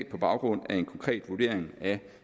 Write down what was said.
på baggrund af en konkret vurdering af